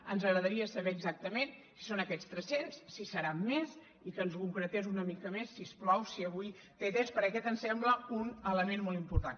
ens agradaria saber exactament si són aquests tres cents si seran més i que ens ho concretés una mica més si us plau si avui té temps perquè aquest ens sembla un element molt important